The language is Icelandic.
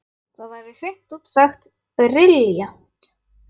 Það væri hreint út sagt brilljant!